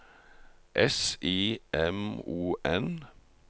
S I M O N